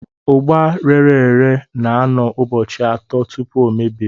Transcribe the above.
Ugba rere ere na-anọ ụbọchị atọ tupu ọ mebie.